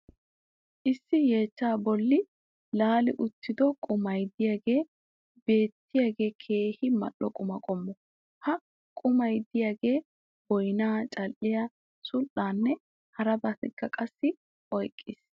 issi yeechchaa boli laali uttido qummay diyaagee beettiyagee keehi mal'o qumma qommo. ha qummay diyaagee boynnaa, cadhdhiya, sul'aanne harabattakka qassi oyqees.